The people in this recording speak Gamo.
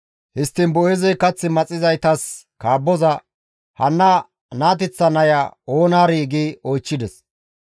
Histtiin Boo7eezey kath maxizaytas kaabboza, «Hanna naateththa naya oonaarii?» gi oychchides.